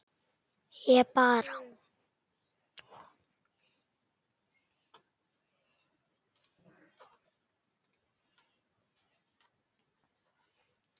Ég bara.